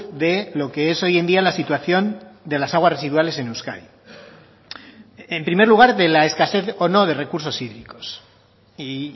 de lo que es hoy en día la situación de las aguas residuales en euskadi en primer lugar de la escasez o no de recursos hídricos y